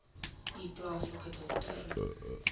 u plaaslike dokter